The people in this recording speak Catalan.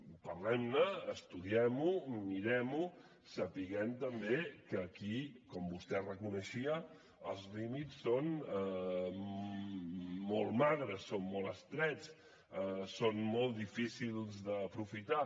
parlem ne estudiem ho mirem ho sabent també que aquí com vostè reconeixia els límits són molt magres són molt estrets són molt difícils d’aprofitar